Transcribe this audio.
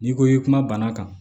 N'i ko i kuma bana kan